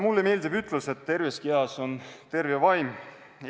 Mulle meeldib ütlus, et terves kehas on terve vaim.